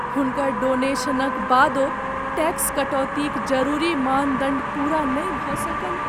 हुनकर डोनेशनक बादो टैक्स कटौतीक जरूरी मानदंड पूरा नहि भऽ सकल।